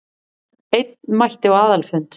Einn mætti á aðalfund